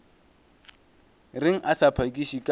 reng a sa phakiše ka